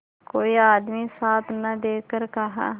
कोई आदमी साथ न देखकर कहा